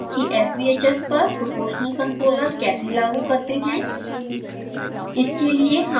अब देखते हैं कि sbhs पर proportional controller कैसे लागू करते हैं